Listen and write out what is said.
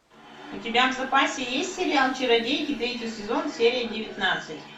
у тебя в запасе есть сериал чародейки третий сезон серия девятнадцать